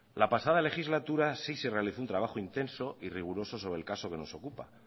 la pasada legislatura sí se realizó un trabajo intenso y riguroso sobre el caso que nos ocupa